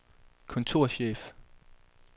kontorchef